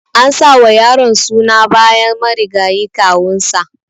An sa wa yaron suna bayan marigayi kawun sa.